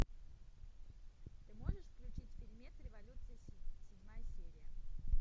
ты можешь включить фильмец революция седьмая серия